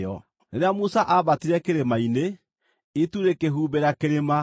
Rĩrĩa Musa aambatire kĩrĩma-inĩ, itu rĩkĩhumbĩra kĩrĩma,